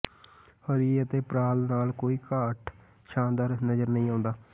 ਹਰੀ ਅਤੇ ਪ੍ਰਾਂਲ ਨਾਲ ਕੋਈ ਘੱਟ ਸ਼ਾਨਦਾਰ ਨਜ਼ਰ ਨਹੀਂ ਆਉਂਦਾ